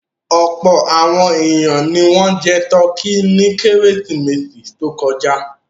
Ọ̀pọ̀ àwọn ènìyàn ni wọ́n jẹ tọkí ní Kérésìmesì tó kọjá.